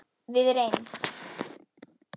Við reynd